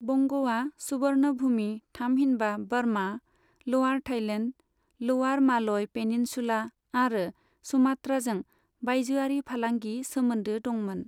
बंग'आ सुबर्णभुमि थामहिनबा बर्मा, लआर थाईलेण्ड, लआर मालय पेनिनसुला आरो सुमात्राजों बायजोआरि फालांगि सोमोन्दो दंमोन।